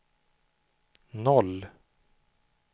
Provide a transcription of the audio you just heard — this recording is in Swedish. noll